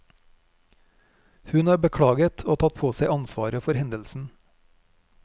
Hun har beklaget og tatt på seg ansvaret for hendelsen.